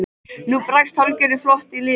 Nú brast hálfgerður flótti í liðið.